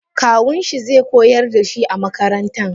Kawunshi ze koyar dashi a makaranta.